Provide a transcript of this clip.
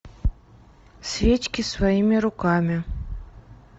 свечки своими руками